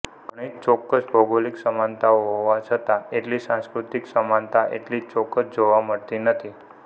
ઘણી ચોક્કસ ભૌગોલિક સમાનતાઓ હોવા છતા એટલી સાંસ્કૃતિક સમાનતા એટલી ચોક્કસ જોવા મળતી નથી